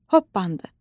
Hoppandı.